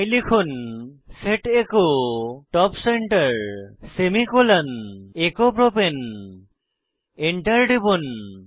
তাই লিখুন set echo top center semicolon echo প্রপাণে Enter টিপুন